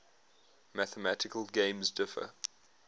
mathematical games differ